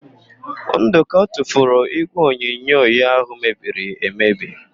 Ndụka tufuru ígwèonyonyo ya ahụ mebiri emebi.